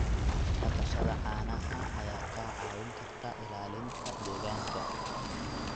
Dhaqashada caanaha ayaa kaa caawin karta ilaalinta deegaanka.